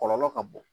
Kɔlɔlɔ ka bon